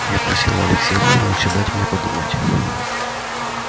я просила алексея ивановича дать мне подумать